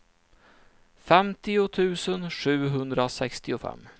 femtio tusen sjuhundrasextiofem